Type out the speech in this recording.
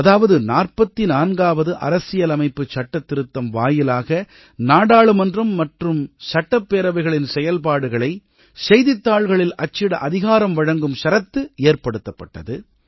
அதாவது 44ஆவது அரசியலமைப்புச் சட்டத்திருத்தம் வாயிலாக நாடாளுமன்றம் மற்றும் சட்டப்பேரவைகளின் செயல்பாடுகளை செய்தித்தாள்களில் அச்சிட அதிகாரம் வழங்கும் ஷரத்து ஏற்படுத்தப்பட்டது